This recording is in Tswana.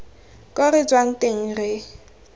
ko re tswang teng re